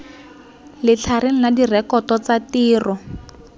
letlhareng la direkoto tsa tiro